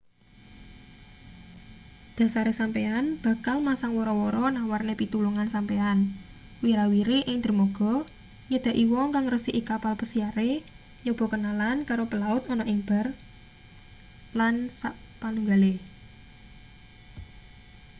dhasare sampeyan bakal masang wara-wara nawarne pitulungan sampeyan wira-wiri ing dermaga nyedaki wong kang ngresiki kapal pesiare nyoba kenalan karo pelaut ana ing bar lsp